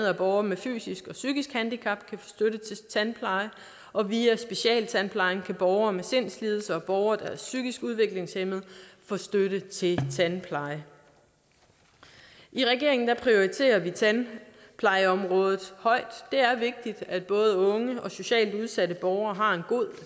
at borgere med fysisk eller psykisk handicap kan få støtte til tandpleje og via specialtandplejen kan borgere med sindslidelser og borgere der er psykisk udviklingshæmmede få støtte til tandpleje i regeringen prioriterer vi tandplejeområdet højt det er vigtigt at både unge og socialt udsatte borgere har en god